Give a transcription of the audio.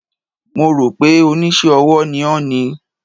Mo rò pé Oníṣẹ́-ọwọ́ ni ó ni.